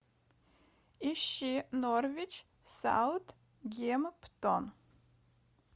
ищи норвич саутгемптон